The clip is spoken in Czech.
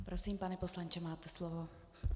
Prosím, pane poslanče, máte slovo.